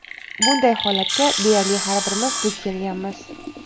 Bunday holatga deyarli har birimiz duch kelganmiz.